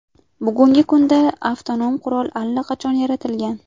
Bugungi kunda avtonom qurol allaqachon yaratilgan.